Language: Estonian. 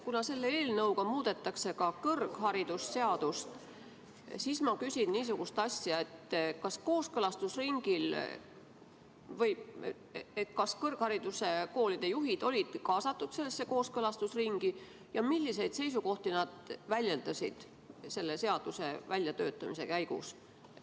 Kuna selle eelnõuga muudetakse ka kõrgharidusseadust, siis ma küsin niisugust asja: kas kõrgkoolide juhid olid ka kaasatud sellesse kooskõlastusringi ja milliseid seisukohti nad väljendasid selle seaduse väljatöötamise käigus?